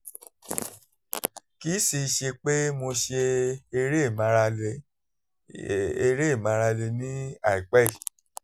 kì í sì í ṣe pé mo ṣe eré ìmárale eré ìmárale ní àìpẹ́ yìí